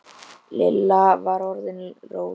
Lilla var orðin róleg.